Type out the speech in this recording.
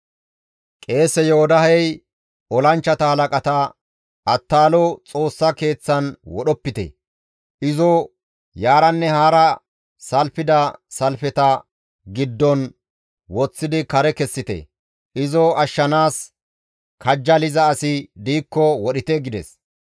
Qeese Yoodahey olanchchata halaqata, «Attaalo Xoossa Keeththan wodhopite! Izo yaaranne haara salfida salfeta giddon woththidi kare kessite; izo ashshanaas kajjaliza asi diikko wodhite!» gides.